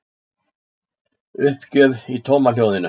Uppgjöf í tómahljóðinu.